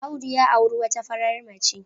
Audi ya auri wata farar mace.